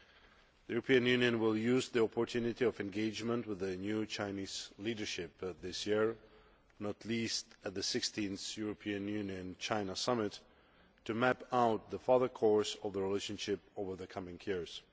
The European Union will use the opportunity of engagement with the new Chinese leadership this year, not least at the 16th European Union China Summit, to map out the further course of the relationship over the coming years.